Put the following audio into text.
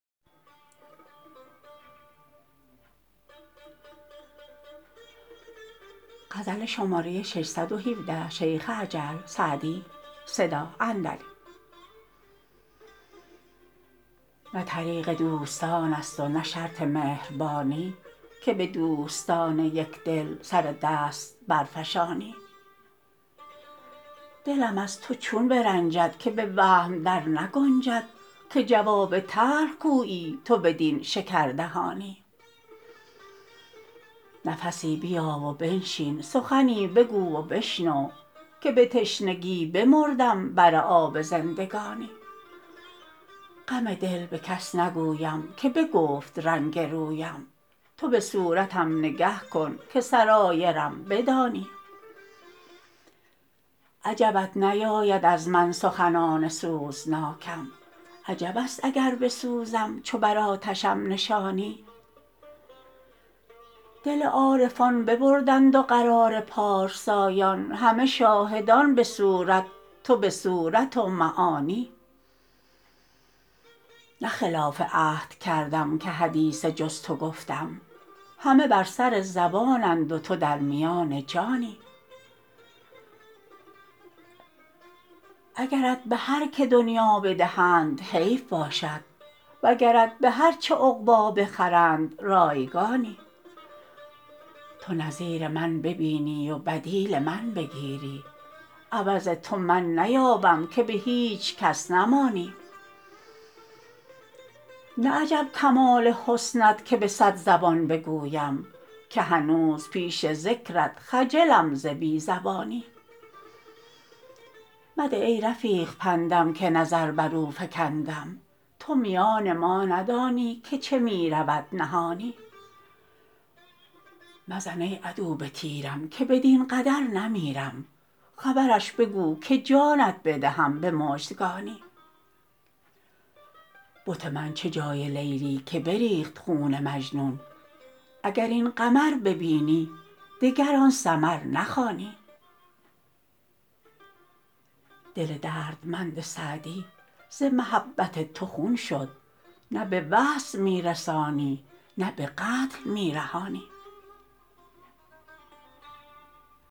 نه طریق دوستان است و نه شرط مهربانی که به دوستان یک دل سر دست برفشانی دلم از تو چون برنجد که به وهم در نگنجد که جواب تلخ گویی تو بدین شکردهانی نفسی بیا و بنشین سخنی بگو و بشنو که به تشنگی بمردم بر آب زندگانی غم دل به کس نگویم که بگفت رنگ رویم تو به صورتم نگه کن که سرایرم بدانی عجبت نیاید از من سخنان سوزناکم عجب است اگر بسوزم چو بر آتشم نشانی دل عارفان ببردند و قرار پارسایان همه شاهدان به صورت تو به صورت و معانی نه خلاف عهد کردم که حدیث جز تو گفتم همه بر سر زبانند و تو در میان جانی اگرت به هر که دنیا بدهند حیف باشد وگرت به هر چه عقبی بخرند رایگانی تو نظیر من ببینی و بدیل من بگیری عوض تو من نیابم که به هیچ کس نمانی نه عجب کمال حسنت که به صد زبان بگویم که هنوز پیش ذکرت خجلم ز بی زبانی مده ای رفیق پندم که نظر بر او فکندم تو میان ما ندانی که چه می رود نهانی مزن ای عدو به تیرم که بدین قدر نمیرم خبرش بگو که جانت بدهم به مژدگانی بت من چه جای لیلی که بریخت خون مجنون اگر این قمر ببینی دگر آن سمر نخوانی دل دردمند سعدی ز محبت تو خون شد نه به وصل می رسانی نه به قتل می رهانی